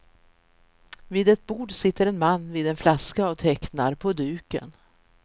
Vid ett bord sitter en man vid en flaska och tecknar på duken.